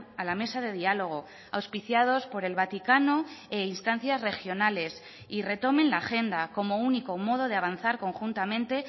a la mesa de diálogo auspiciados por el vaticano e instancias regionales y retomen la agenda como único modo de avanzar conjuntamente